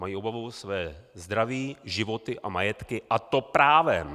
Mají obavu o své zdraví, životy a majetky, a to právem!